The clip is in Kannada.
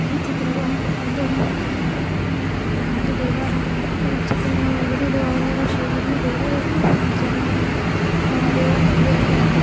ಈ ಚಿತ್ರವು ಒಂದು ದೇವಾಲಯದ ಒಂದು ಚಿತ್ರಣವಾಗಿದೆ. ಇದು ಅವರವರ ಶೈಲಿಯಲಿ ಬೇರೆ ಯವ್ರಾ ಜನಗ್ ಗಳೆಂದು ದೇವಾಲಯ--